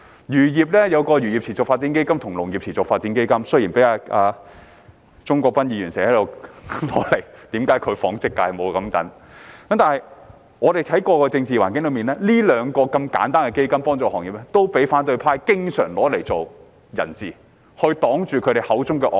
漁農業有一個漁業持續發展基金和農業持續發展基金——雖然鍾國斌議員經常批評為何其所屬的紡織界沒有類似基金——但我們看回過去的政治環境，這兩個如此簡單、協助行業的基金也經常被反對派拿作人質，擋住他們口中的"惡法"。